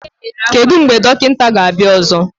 Kedu mgbe dọkịta ga-abịa ọzọ?